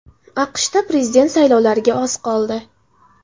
AQShda prezident saylovlariga oz qoldi.